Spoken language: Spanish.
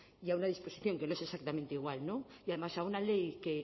y a una disposición que no es exactamente igual y además a una ley que